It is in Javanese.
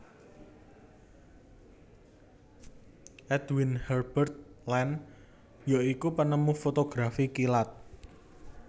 Edwin Herbert Land ya iku penemu fotografi kilat